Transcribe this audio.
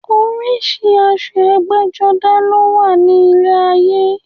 Oríṣi aṣọ ẹgbẹ́-jọdá ló wà ní ilé ayé.